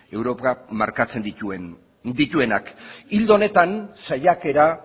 europak markatzen dituenak ildo honetan saiaketa